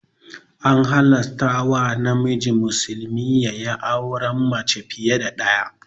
An halarta wa namiji musulmi yayi auren mace fiya da ɗaya